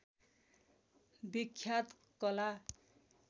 विख्यात कला